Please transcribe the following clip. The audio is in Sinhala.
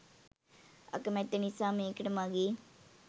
අකමැත්ත නිසා මේකට මගේ